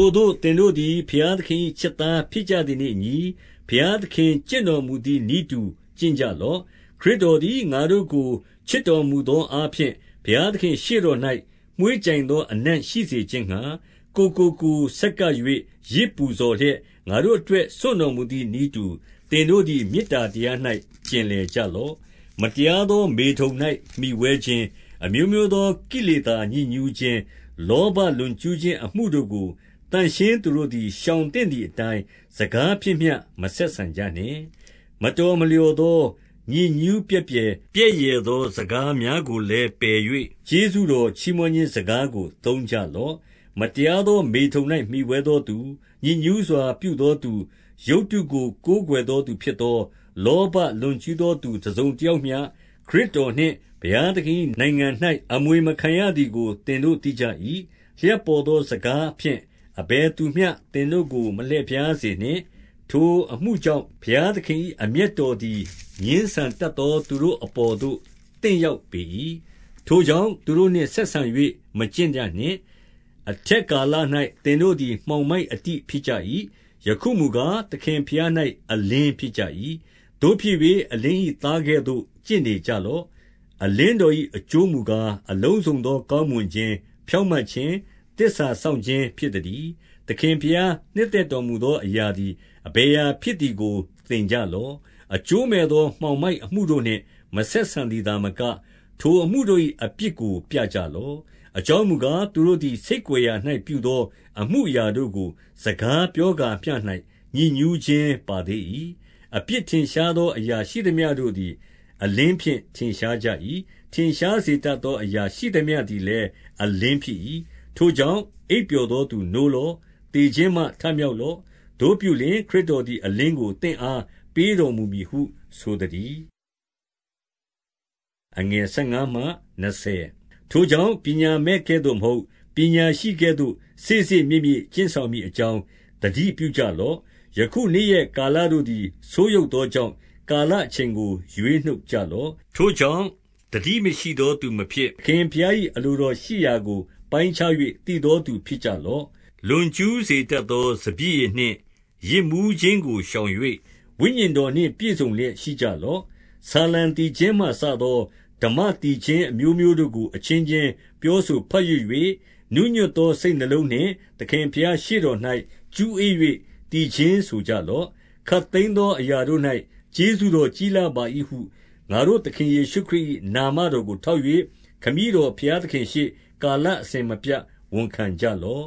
ို့သင်တို့သည် ဘုရားသခင်၏ ချစ်သားဖြစ်ကြသည်နှင့်အညီ၊ ဘုရားသခင် ကျင့်တော်မူသည် နည်းတူကျင့်ကြလော့။ 2 ခရစ်တော်သည် ငါတို့ကို ချစ်တော်မူသောအားဖြင့် ဘုရားသခင့်ရှေ့တော်၌ မွှေးကြိုင်သော အနံ့ရှိစေ ခြင်းငှါ၊ ကိုယ်ကိုကိုယ်ဆက်ကပ်၍ ယဇ်ပူဇော်လျက်၊ ငါတို့အတွက် စွန့်တော်မူသည်နည်းတူ၊ သင်တို့သည် မေတ္တာတရား၌ ကျင်လည်ကြလော့။ 3 မတရားသော မေထုန်၌မှီဝဲခြင်း၊ အမျိုးမျိုးသော ကိလေသာညစ်ညူးခြင်း၊ လောဘလွန်ကျူးခြင်း အမှုတို့ကို သန့်ရှင်းသူတို့သည် ရှောင်သင့်သည်အတိုင်း၊ စကားဖြင့်မျှ မဆက်ဆံကြနှင့်။ 4 မတော်မလျော်သော ညစ်ညူးပြက်ပြယ် ပြက်ယယ်သော စကားများကိုလည်းပယ်၍ ကျေးဇူးတော် ချီးမွမ်းခြင်းစကားကို သုံးကြလော့။ 5 မတရားသော မေထုန်၌ မှီဝဲသောသူ၊ ညစ်ညူးစွာ ပြုသောသူ၊ ရုပ်တုကို ကိုင်ကွယ်သောသူဖြစ်သော လောဘလွန်ကျူးသောသူ တစုံတယောက်မျှ ခရစ်တော်နှင့် ဘုရားသခင်၏နိုင်ငံ၌ အမွေမခံရသည်ကို သင်တို့ သိကြ၏။ 6 လျှပ်ပေါ်သောစကားဖြင့် အဘယ်သူမျှ သင်တို့ ကို မလှည့်ဖြားစေနှင့်။ ထိုအမှုကြောင့် ဘုရားသခင်၏ အမျက်တော်သည် ငြင်းဆန်တတ်သော သူတို့ အပေါ်သို့ သင့်ရောက်ပေ၏။ 7 ထိုကြောင့်သူတို့နှင့်ဆက်ဆံ၍ မကျင့်ကြနှင့်။ 8 အထက်ကာလ၌သင်တို့သည် မှောင်မိုက်အတိဖြစ်ကြ၏။ ယခုမူကား၊ သခင်ဘုရား၌အလင်းဖြစ်ကြ၏။ သို့ဖြစ်၍ အလင်း၏သားကဲ့သို့ ကျင့်နေကြလော့။ 9 အလင်းတော်၏ အကျိုးမူကား၊ အလုံးစုံသော ကောင်းမွန်ခြင်း၊ ဖြောင့်မတ်ခြင်း၊ သစ္စာစောင့်ခြင်း ဖြစ် သတည်း။ 10 သခင်ဘုရားနှစ်သက်တော်မူသော အရာသည် အဘယ်အရာဖြစ်သည်ကို သင်ကြလော့။ 11 အကျိုးမဲ့သောမှောင်မိုက်အမှုတို့နှင့် မဆက်ဆံသည်သာမက၊ ထိုအမှုတို့၏ အပြစ်ကို ပြကြလော့။ 12 အကြောင်းမူကား၊ သူတို့သည် ဆိတ်ကွယ်ရာ၌ ပြုသောအမှုအရာတို့ကို စကားပြောကာမျှ၌ ညစ်ညူးခြင်း ပါသေး၏။ 13 အပြစ်ထင်ရှားသောအရာ ရှိသမျှတို့သည် အလင်းဖြင့် ထင်ရှားကြ၏။ ထင်ရှားစေတတ်သော အရာရှိသမျှတို့သည်လည်း အလင်းဖြစ်၏။ 14 ထိုကြောင့် အိပ်ပျော်သူနိုးလော့။ သေခြင်းမှ ထမြောက်လော့။ သို့ပြုလျှင် ခရစ်တော်သည် အလင်းကို သင့်အား ပေးတော်မူမည်ဟု ဆိုသတည်း။ 15 ထိုကြောင့် ပညာမဲ့ကဲ့သို့မဟုတ်၊ ပညာရှိကဲ့သို့ စေ့စေ့မြေ့မြေ့ကျင့်ဆောင်မည်အကြောင်း သတိပြုကြ လော့။ 16 ယခု နေ့ရက်ကာလတို့သည် ဆိုးယုတ်သောကြောင့် ကာလအချိန်ကို ရွေးနှုတ်ကြလော့။ 17 ထိုကြောင့် သတိမရှိသောသူမဖြစ်၊ သခင်ဘုရား၏ အလိုတော်ရှိရာကို ပိုင်းခြင်း၍ သိသောသူ ဖြစ်ကြ လော့။ 18 လွန်ကျူးစေတတ်သော စပျစ်ရည်နှင့် ယစ်မူးခြင်းကိုရှောင်၍ ဝိညာဉ်တော်နှင့်ပြည့်စုံလျက်ရှိကြလော့။ 19 ဆာလံသီချင်းမှစသော ဓမ္မသီချင်း အမျိုးမျိုးတို့ကို အချင်းချင်း ပြောဆိုဘတ်ရွတ်၍၊ နူးညွတ်သော စိတ်နှလုံးနှင့် သခင်ဘုရားရှေ့တော်၌ ကျူးဧ၍သီချင်း ဆိုကြလော့။ 20 ခပ်သိမ်းသောအရာတို့၌ ကျေးဇူးတော်ကြီးလှပါ၏ဟု ငါတို့သခင်ယေရှုခရစ်၏ နာမတော်ကို ထောက်၍၊ ခမည်းတော်ဘုရားသခင်ရှေ့၊ ကာလအစဉ်မပြတ်ဝန်ခံကြလော့။ 21